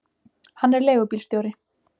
Hann er leigubílstjóri.